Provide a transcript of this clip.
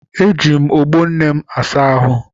Eji m ogbo nne m asa ahụ.